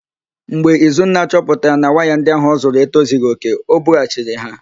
Mgbe Izunna chọpụtara na waya ndị ahụ ọzụrụ etozighi òkè, o bughachiri ha.